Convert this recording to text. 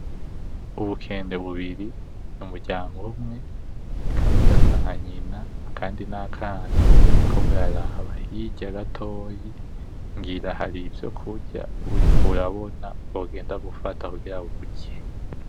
Ubukende bubiri mu muryango umwe, kamwe gasa nka nyina kandi n’akana buriko buraba hirya gatoyi ngira hari ivyo kurya buriko burabona bwo genda gufata kungira burye.